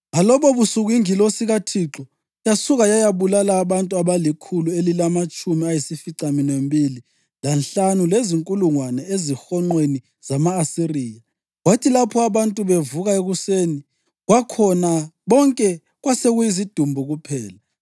Ngalobobusuku ingilosi kaThixo yasuka yayabulala abantu abalikhulu elilamatshumi ayisificaminwembili lanhlanu lezinkulungwane ezihonqweni zama-Asiriya. Kwathi lapho abantu bevuka ekuseni kwakhona bonke kwasekuyizidumbu kuphela!